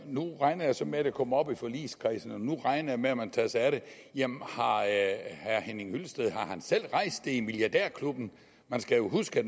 nu regner jeg så med at det kommer op i forligskredsen og nu regner jeg med at man tager sig af det jamen har herre henning hyllested selv rejst det i milliardærklubben man skal jo huske at